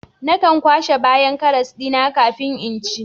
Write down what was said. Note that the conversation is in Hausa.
Nakan kwashe bayan karas dina kafin in ci